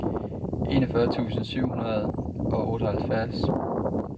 enogfyrre tusind syv hundrede og otteoghalvfjerds